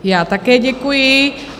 Já také děkuji.